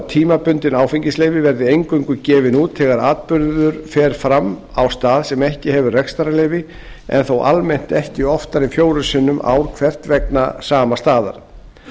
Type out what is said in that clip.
tímabundin áfengisleyfi verði eingöngu gefin út þegar atburður fer fram á stað sem ekki hefur rekstrarleyfi en þó almennt ekki oftar en fjórum sinnum ár hvert vegna sama staðar